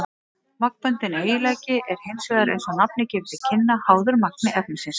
Magnbundinn eiginleiki er hins vegar, eins og nafnið gefur til kynna, háður magni efnisins.